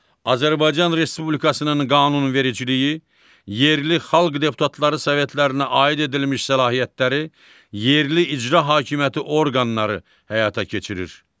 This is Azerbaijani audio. Azərbaycan Respublikasının qanunvericiliyi yerli xalq deputatları sovetlərinə aid edilmiş səlahiyyətləri yerli icra hakimiyyəti orqanları həyata keçirir.